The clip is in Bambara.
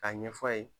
K'a ɲɛf'a ye